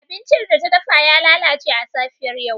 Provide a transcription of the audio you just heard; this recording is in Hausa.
Abincin da ta dafa ya lalace a safiyar yau.